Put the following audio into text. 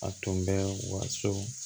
A tun bɛ waso